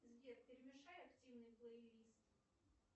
сбер перемешай активный плейлист